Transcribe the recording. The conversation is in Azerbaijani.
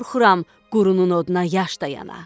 Qorxuram, qorunun oduna yaş dayana.